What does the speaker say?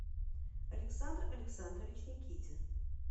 александр александрович никитин